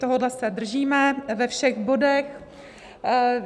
Tohohle se držíme ve všech bodech.